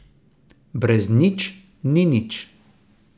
Brez nič ni nič.